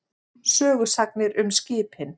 Sögusagnir um skipin.